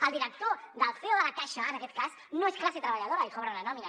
el director el ceo de la caixa en aquest cas no és classe treballadora i cobren una nòmina